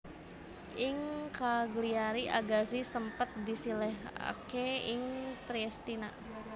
Ing Cagliari Agazzi sempet disilihaké ing Triestina